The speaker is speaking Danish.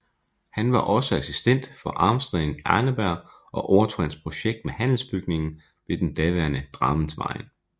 Han var også assistent for Arnstein Arneberg og overtog hans projekt med Handelsbygningen ved den daværende Drammensveien